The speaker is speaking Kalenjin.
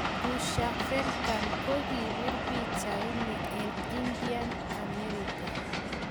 Usha Venkat ko kipir pichait nii rng Indian, amerika.